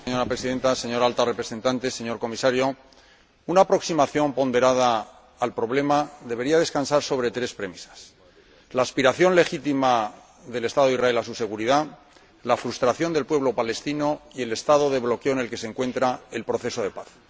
Señora Presidenta, señora Alta Representante, señor Comisario, una aproximación ponderada al problema debería descansar sobre tres premisas la aspiración legítima del Estado de Israel a su seguridad, la frustración del pueblo palestino y el estado de bloqueo en el que se encuentra el proceso de paz.